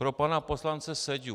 Pro pana poslance Seďu.